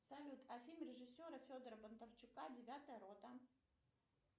салют а фильм режиссера федора бондарчука девятая рота